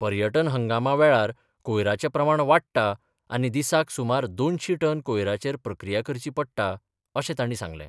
पर्यटन हंगामा वेळार कोयराचे प्रमाण वाडटा आनी दिसाक सुमार दोनशी टन कोयराचेर प्रक्रिया करची पडटा अशें तांणी सांगलें.